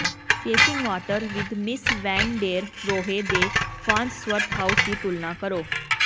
facing water with Mies van der Rohe ਦੇ Farnsworth House ਦੀ ਤੁਲਨਾ ਕਰੋ